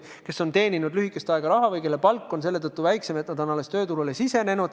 Nad on raha alles lühikest aega teeninud ja nende palk võib olla selle tõttu väiksem.